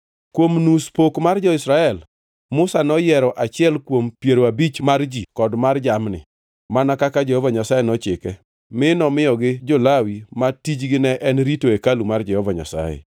Kuom nus pok mar jo-Israel, Musa noyiero achiel kuom piero abich mar ji kod jamni, mana kaka Jehova Nyasaye nochike, mi nomiyogi jo-Lawi, ma tijgi ne en rito hekalu mar Jehova Nyasaye.